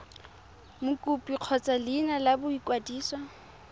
mokopi kgotsa leina la boikwadiso